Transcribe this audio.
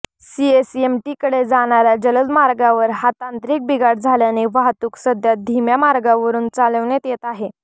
सीएसएमटीकडे जाणाऱ्या जलद मार्गावर हा तांत्रिक बिघाड झाल्याने वाहतूक सध्या धीम्या मार्गावरून चालवण्यात येत आहे